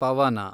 ಪವನ